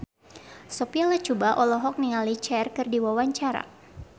Sophia Latjuba olohok ningali Cher keur diwawancara